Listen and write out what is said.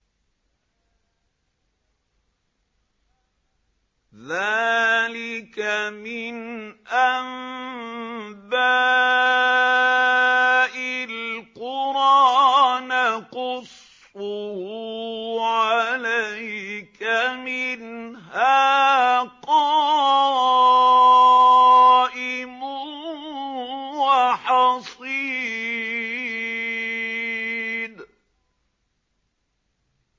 ذَٰلِكَ مِنْ أَنبَاءِ الْقُرَىٰ نَقُصُّهُ عَلَيْكَ ۖ مِنْهَا قَائِمٌ وَحَصِيدٌ